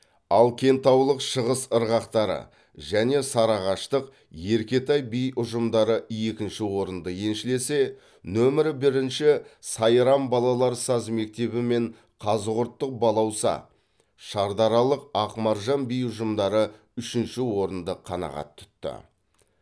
ал кентаулық шығыс ырғақтары және сарыағаштық еркетай би ұжымдары екінші орынды еншілесе нөмірі бірінші сайрам балалар саз мектебі мен қазығұрттық балауса шардаралық ақмаржан би ұжымдары үшінші орынды қанағат тұтты